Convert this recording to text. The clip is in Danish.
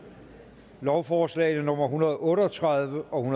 lovforslag nummer hundrede og otte og tredive og